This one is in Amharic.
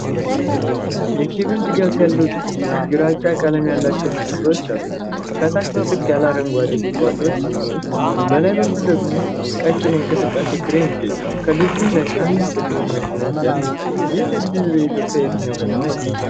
የኬብል ድጋፍ ያለው ድልድይ ግራጫ ቀለም ያላቸው ምሰሶዎች አሉት። ከታች ጥቅጥቅ ያሉ አረንጓዴ ቁጥቋጦዎች ሲኖሩ፣ በላይ በኩል ደግሞ ቀጭን የእንቅስቃሴ ክሬን ይገኛል። ከድልድዩ ላይ አንድ ጥቁር መኪና ሲያልፍ ይታያል። ይህ ድልድይ በኢትዮጵያ የትኛው ከተማ ይገኛል?